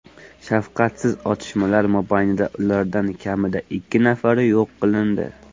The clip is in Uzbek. Shafqatsiz otishmalar mobaynida ulardan kamida ikki nafari yo‘q qilindi.